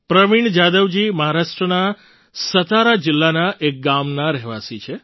પ્રવીણ જાધવજી મહારાષ્ટ્રના સતારા જિલ્લાના એક ગામના રહેવાસી છે